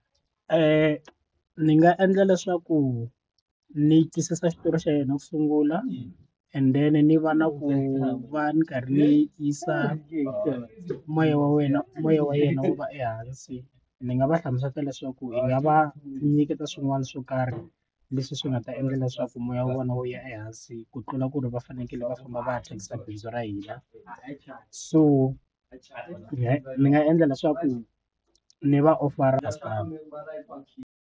ni nga endla leswaku ni twisisa xitori xa yena ku sungula and then ni va na ku va ni karhi ni yisa moya wa wena moya wa yena wu va ehansi ndzi nga va hlamusela leswaku hi nga va nyiketa swin'wana swo karhi leswi swi nga ta endla leswaku moya wa vona wo ya ehansi ku tlula ku ri va fanekele va famba va ya thyakisa bindzu ra hina so ni nga endla leswaku ni va offer .